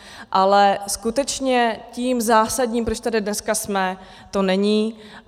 Ale skutečně tím zásadním, proč tady dneska jsme, to není.